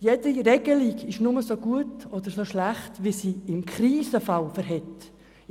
Jede Regelung ist nur so gut oder so schlecht, wie sie im Krisenfall funktioniert.